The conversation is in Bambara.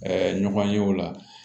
ɲɔgɔn ye o la